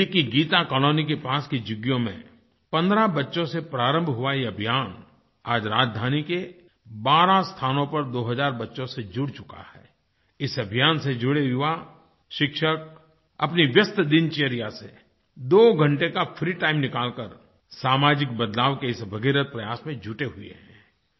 दिल्ली की गीता कालोनी के पास की झुग्गियों में 15 बच्चों से प्रारंभ हुआ ये अभियान आज राजधानी के 12 स्थानों पर 2 हज़ार बच्चों से जुड़ चुका है इस अभियान से जुड़े युवा शिक्षक अपनी व्यस्त दिनचर्या से 2 घंटे का फ्री टाइम निकालकर सामाजिक बदलाव के इस भगीरथ प्रयास में जुटे हुए हैं